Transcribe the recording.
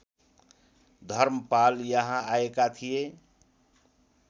धर्मपाल यहाँ आएका थिए